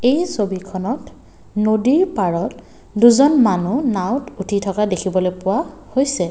এই ছবিখনত নদীৰ পাৰত দুজন মানুহ নাওঁৱত উঠি থকা দেখিবলৈ পোৱা হৈছে।